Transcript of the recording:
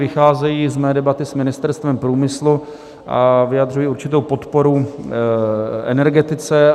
Vycházejí z mé debaty s Ministerstvem průmyslu a vyjadřují určitou podporu energetice.